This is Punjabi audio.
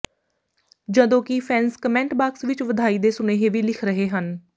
ਜਦੋਂ ਕਿ ਫੈਂਨਸ ਕਮੈਂਟ ਬਾਕਸ ਵਿਚ ਵਧਾਈ ਦੇ ਸੁਨੇਹੇ ਵੀ ਲਿਖ ਰਹੇ ਹਨ